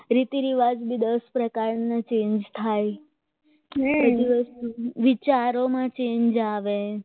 હા રીતરિવાજ દસ પ્રકારનો change થાય આખો દિવસ વિચારોમાં change આવે એમ આ